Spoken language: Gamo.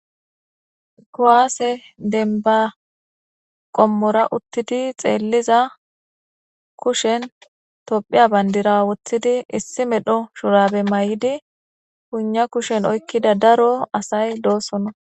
Kuwaase denba qommora uttidi xeelliza kushen tophiya bandira wothidi issi medho shurabe mayidi piina kushen oykkida daro asay doosona.